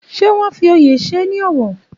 Ṣé wọn fi oyè ṣe ní ọ̀wọ̀?